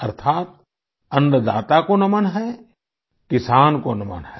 अर्थात अन्नदाता को नमन है किसान को नमन है